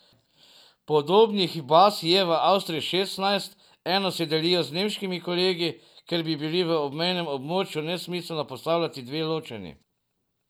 Podobnih je baz je v Avstriji šestnajst, eno si delijo z nemškimi kolegi, ker bi bili v obmejnem območju nesmiselno postavljati dve ločeni.